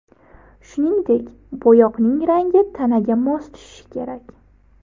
Shuningdek, bo‘yoqning rangi tanaga mos tushishi kerak.